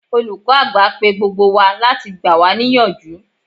Olùkọ́ àgbà pe gbogbo wa láti gbà wá ní ìyànjú.